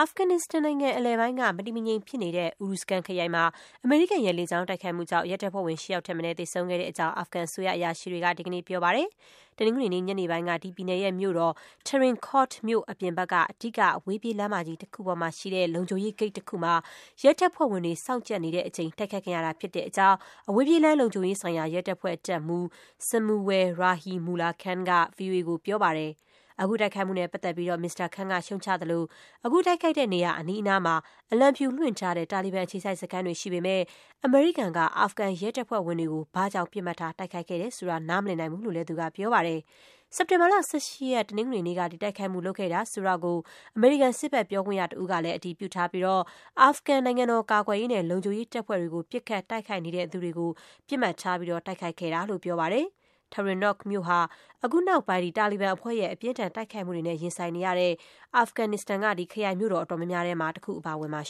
ဖဂန်နစ္စတန်နိုင်ငံအလယ်ပိုင်းက မတည်မငြိမ်ဖြစ်နေတဲ့ Uruzgan ခရိုင်မှာ အမေရိကန်ရဲ့လေကြောင်းတိုက်ခိုက်မှုကြောင့် ရဲတပ်ဖွဲ့ဝင် ၈ ယောက်ထက်မနည်း သေဆုံးခဲ့တဲ့အကြောင်း အာဖဂန်အစိုးရအရာရှိတွေက ဒီကနေ့ ပြောပါတယ်။ တနင်္ဂနွေနေ့ ညနေပိုင်းက ဒီပြည်နယ်ရဲ့ မြို့တော် Tarin Kot မြို့ အပြင်ဘက်က အဓိက အဝေးပြေးလမ်းမကြီး တခုပေါ်မှာရှိတဲ့ လုံခြုံရေးဂိတ်တခုမှာ ရဲတပ်ဖွဲ့ဝင်တွေ စောင့်ကြပ်နေ တဲ့အချိန် တိုက်ခိုက်ခံရတာဖြစ်တဲ့အကြောင်း အဝေးပြေးလမ်းလုံခြုံရေးဆိုင်ရာ ရဲတပ်ဖွဲ့ တပ်မှူး Samunwal Rahimullah Khan က ဗွီအိုအေကို ပြောပါတယ်။ အခု တိုက်ခိုက်မှုနဲ့ပတ်သက်ပြီး မစ္စတာ Khan က ရှုတ်ချသလို၊ အခုတိုက်ခိုက်တဲ့နေရာ အနီးအနားမှာ အလံဖြူ လွှင့်ထားတဲ့ တာလီဘန် အခြေစိုက်စခန်းတွေ ရှိပေမဲ့ အမေရိကန်က အာဖဂန်ရဲတပ်ဖွဲ့ဝင်တွေကို ဘာကြောင့် ပစ်မှတ်ထား တိုက်ခိုက်တယ် ဆိုတာ နားမလည်နိုင်ဘူးလို့လည်း သူက ပြောပါတယ်။ စက်တင်ဘာ ၁၈ ရက် တနင်္ဂနွေနေ့က ဒီတိုက်ခိုက်မှု လုပ်ခဲ့တယ်ဆိုတာကို အမေရိကန်စစ်ဘက် ပြောခွင့်ရတဦးကလည်း အတည်ပြုထားပြီး အာဖဂန် နိုင်ငံတော်ကာကွယ်ရေးနဲ့ လုံခြုံရေးတပ်ဖွဲ့တွေကို ပစ်ခတ် တိုက်ခိုက် နေသူတွေကို ပစ်မှတ်ထား တိုက်ခိုက်ခဲ့တာလို့ ပြောပါတယ်။ Tarin Kot မြို့ဟာ အခုနောက်ပိုင်း တာလီဘန်အဖွဲ့ရဲ့ အပြင်းအထန် တိုက်ခိုက်မှုတွေနဲ့ ရင်ဆိုင်နေရတဲ့ အာဖဂန်ရဲ့ ခရိုင်မြို့တော် အတော်များများထဲမှာ ပါဝင်ပါတယ်။